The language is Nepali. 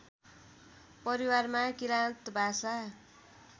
परिवारमा किराँत भाषा